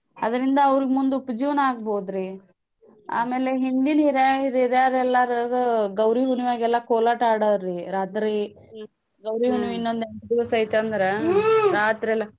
ಅದರಿಂದ ಅವ್ರ್ಗ್ ಮುಂದ್ ಉಪ ಜೀವ್ನಾ ಆಗ್ಬೌದ್ರಿ. ಆಮೇಲೆ ಹಿಂದಿನ್ ಹೀರ್ಯಾ~ ಹೀರ್ಯಾರೆಲ್ಲಾರಿಗೂ ಗೌರೀ ಹುಣ್ಮ್ಯಾಗೆಲ್ಲಾ ಕೋಲಾಟ ಆಡೋರ್ರೀ ರಾತ್ರೀ ಗೌರೀ ಹುಣ್ಮೇಗಿನ್ನೊಂದ್ ಎಂಟ್ ದಿಸೈತಂದ್ರ ರಾತ್ರೆಲ್ಲಾ.